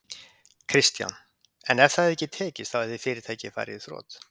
Kristján: En ef það hefði ekki tekist þá hefði fyrirtækið farið í þrot?